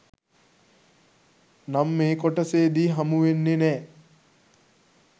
නම් මේ කොටසෙදි හමුවෙන්නේ නෑ.